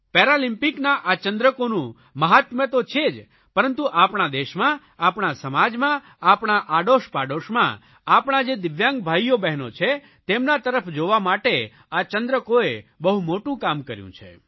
પેરાલિમ્પિકના આ ચંદ્રકોનું મહાત્મ્ય તો છે જ પરંતુ આપણા દેશમાં આપણા સમાજમાં આપણા આડોશપાડોશમાં આપણા જે દિવ્યાંગ ભાઇઓબહેનો છે તેમના તરફ જોવા માટે આ ચંદ્રકોએ બહુ મોટું કામ કર્યું છે